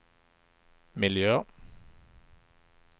miljö